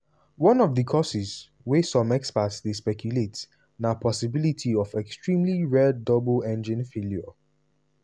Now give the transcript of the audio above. one of di causes wey some experts dey speculate na possibility of extremely rare double engine failure.